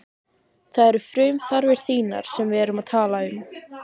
Það eru frumþarfir þínar sem við erum að tala um.